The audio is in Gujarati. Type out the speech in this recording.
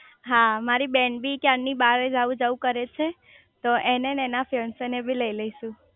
હા મારી બેન બી ક્યારે ની બાર જવું જવું કરે છે તો એને એન્ડ એના ફિયોન્સે બી લઇ લઈશુ